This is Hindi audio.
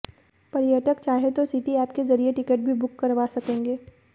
पर्यटक चाहें तो सिटी एप के जरिये टिकट भी बुक करवा सकेंगे